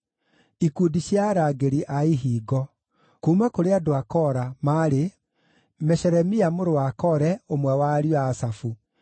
Ikundi cia arangĩri a ihingo: kuuma kũrĩ andũ a Kora maarĩ: Meshelemia mũrũ wa Kore, ũmwe wa ariũ a Asafu.